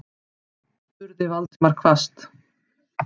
spurði Valdimar hvasst.